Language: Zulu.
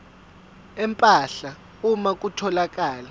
empahla uma kutholakala